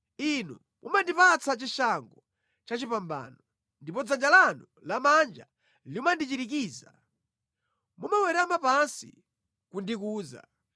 Inu mumandipatsa chishango chachipambano, ndipo dzanja lanu lamanja limandichirikiza; mumawerama pansi kundikuza.